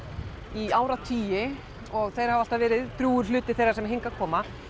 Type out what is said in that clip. í áratugi og þeir hafa alltaf verið drjúgur hluti þeirra sem hingað koma